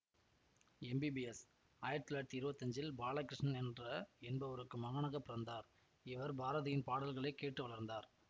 MBS ஆயிரத்தி தொள்ளாயிரத்தி இருவத்தி அன்ஜில் பாலகிருஷ்ணன் என்ற என்பவருக்கு மகனாக பிறந்தார் இவர் பாரதியின் பாடல்களை கேட்டு வளர்ந்தார்